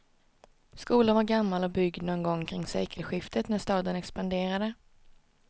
Skolan var gammal och byggd någon gång kring sekelskiftet när staden expanderade.